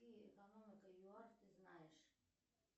какие экономика юар ты знаешь